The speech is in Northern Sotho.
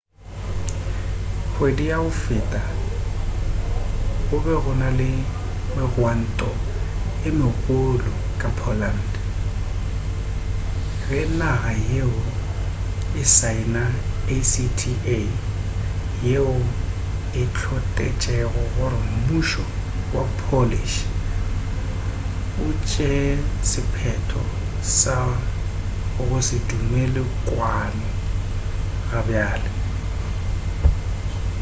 kgwedi ya go feta go be go na le megwanto ye megolo ka poland ge naga yeo e saena acta yeo e hlotešego gore mmušo wa polish o tšee sephetho sa go se dumelele kwano gabjale